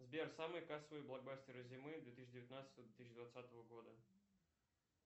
сбер самые кассовые блокбастеры зимы две тысячи девятнадцатого две тысячи двадцатого года